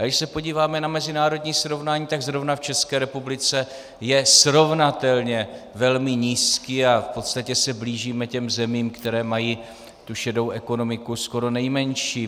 A když se podíváme na mezinárodní srovnání, tak zrovna v České republice je srovnatelně velmi nízký a v podstatě se blížíme těm zemím, které mají tu šedou ekonomiku skoro nejmenší.